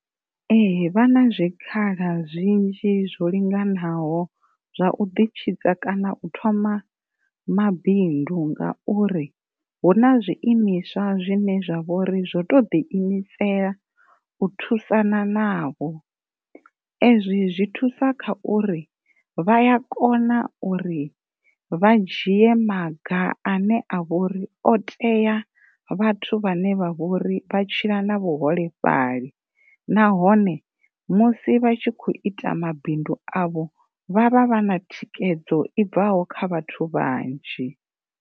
Ee, vha na zwikhala zwinzhi zwo linganaho zwa u ḓi tshidza kana u thoma mabindu ngauri hu na zwiimiswa zwine zwa vhori zwo to ḓi imisela u thusana navho ezwi zwi thusa kha uri vha a kona uri vha dzhie maga ane a vho ri o tea vhathu vhane vha tshila na vhuholefhali nahone musi vha tshi kho ita mabindu avho vha vha vha na thikhedzo i bvaho kha vhathu vhanzhi.